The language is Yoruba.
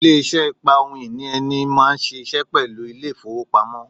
Ilé isé ìpa ohun ìní ẹni mó n síse pẹ̀lú Ilé-ìfowópamọ́